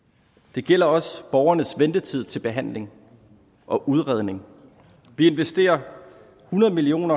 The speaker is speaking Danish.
det gælder også borgernes ventetid til behandling og udredning vi investerer hundrede million